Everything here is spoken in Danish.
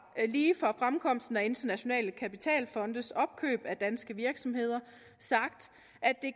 lige fra fremkomsten af internationale kapitalfondes opkøb af danske virksomheder sagt at det